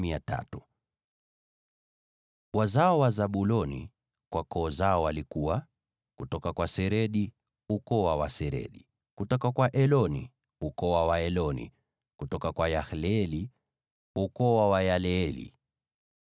Wazao wa Zabuloni kwa koo zao walikuwa: kutoka kwa Seredi, ukoo wa Waseredi; kutoka kwa Eloni, ukoo wa Waeloni; kutoka kwa Yaleeli, ukoo wa Wayaleeli.